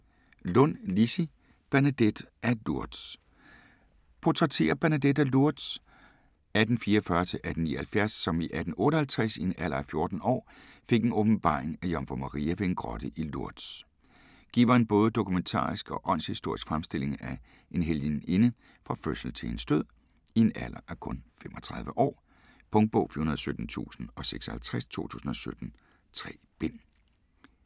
Lundh, Lissie: Bernadette af Lourdes Portrætterer Bernadette af Lourdes (1844-1879) som i 1858 i en alder af 14 år fik en åbenbaring af Jomfru Maria ved en grotte i Lourdes. Giver en både dokumentarisk og åndshistorisk fremstilling af en helgeninde fra fødsel til hendes død, i en alder af kun 35 år. Punktbog 417056 2017. 3 bind.